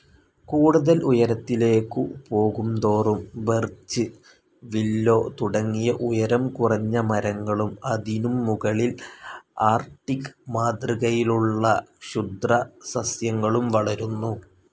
കൂടുതൽ ഉയരത്തിലേക്കു പോകുന്തോറും ബെർച്ച്‌, വില്ലോ തുടങ്ങിയ ഉയരം കുറഞ്ഞ മരങ്ങളും അതിനും മുകളിൽ ആർക്ടിക്‌ മാതൃകയിലുള്ള ക്ഷുദ്രസസ്യങ്ങളും വളരുന്നു.